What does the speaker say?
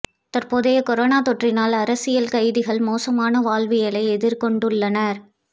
தற்போதைய கொரோனா தொற்றினால் அரசியல் கைதிகள் மோசமான வாழ்வியலை எதிர்கொண்டுள்ளனர்